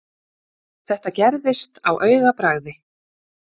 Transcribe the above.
Þetta gerðist á augabragði.